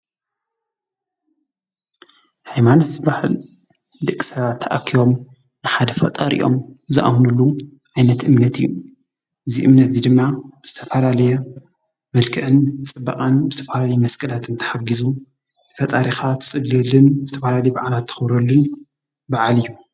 ሃይማኖት ዝበሃል ደቂ ሰባት ተኣኪቦም ንሓደ ፈጣሪኦም ዝኣምንሉ ዓይነት እምነት እዩ። እዚ እምነት እዙይ ድማ ብዝተፈላለየ መልክዕን ፅባቀን ብዝተፈላለየ መስቀላት ተሓጊዙ ፈጣሪካ እትፅልየሉን ዝተፈላለየ ባዓላት ተክብረሉን በዓል እዩ።